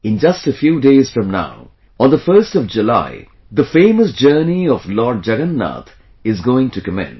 In just a few days from now on the 1st of July, the famous journey of Lord Jagannath is going to commence